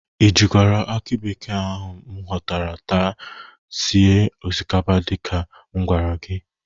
Ị jikwara akị bekee ahụ m ghọtara taa sie osikapa dịka m gwara gị?